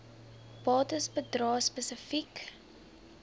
bates bedrae spesifiek